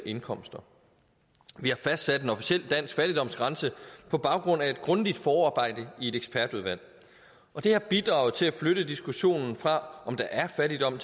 indkomster vi har fastsat en officiel dansk fattigdomsgrænse på baggrund af et grundigt forarbejde i et ekspertudvalg og det har bidraget til at flytte diskussionen fra om der er fattigdom